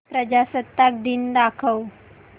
प्रजासत्ताक दिन दाखव